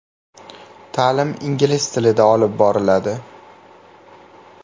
Ta’lim ingliz tilida olib boriladi.